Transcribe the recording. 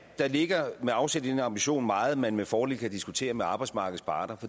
der ligger med afsæt i den ambition meget man med fordel kan diskutere med arbejdsmarkedets parter